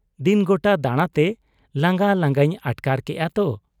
ᱫᱤᱱ ᱜᱚᱴᱟ ᱫᱟᱬᱟᱛᱮ ᱞᱟᱝᱜᱟ ᱞᱟᱸᱜᱟᱧ ᱟᱴᱠᱟᱨ ᱠᱮᱜ ᱟ ᱛᱚ ᱾'